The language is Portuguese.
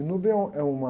é um, é uma